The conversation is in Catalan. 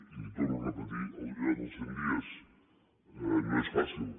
i li torno a repetir allò dels cent dies no és fàcil